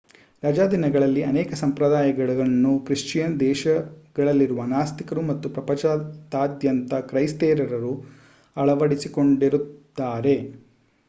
ರಜಾದಿನಗಳಲ್ಲಿ ಅನೇಕ ಸಂಪ್ರದಾಯಗಳನ್ನು ಕ್ರಿಶ್ಚಿಯನ್ ದೇಶಗಳಲ್ಲಿರುವ ನಾಸ್ತಿಕರು ಮತ್ತು ಪ್ರಪಂಚದಾದ್ಯಂತ ಕ್ರೈಸ್ತೇತರರು ಅಳವಡಿಸಿಕೊಂಡಿದ್ದಾರೆ